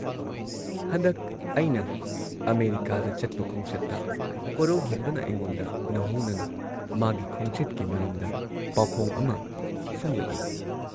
ꯍꯟꯗꯛ ꯑꯩꯅ ꯑꯃꯦꯔꯤꯀꯥꯗ ꯆꯠꯄ ꯈꯣꯡꯆꯠꯇ ꯀꯣꯔꯧꯍꯟꯕꯅ ꯑꯩꯉꯣꯟꯗ ꯅꯧꯍꯧꯅꯅ ꯃꯥꯒꯤ ꯈꯣꯡꯆꯠꯀꯤ ꯃꯔꯝꯗ ꯄꯥꯎꯈꯣꯡ ꯑꯃ ꯐꯣꯡꯂꯛꯏ ꯫